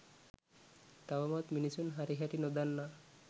තවමත් මිනිසුන් හරිහැටි නොදන්නා